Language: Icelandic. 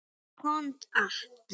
Hann komst allt.